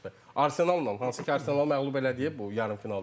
Arsenalnan, hansı ki, Arsenalı məğlub eləyib bu yarımfinalda.